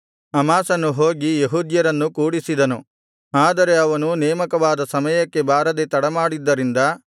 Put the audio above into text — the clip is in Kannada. ಅಮಾಸನು ಹೋಗಿ ಯೆಹೂದ್ಯರನ್ನು ಕೂಡಿಸಿದನು ಆದರೆ ಅವನು ನೇಮಕವಾದ ಸಮಯಕ್ಕೆ ಬಾರದೆ ತಡಮಾಡಿದ್ದರಿಂದ